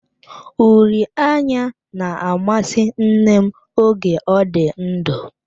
Uri anya na-amasị nne m oge ọ dị ndụ.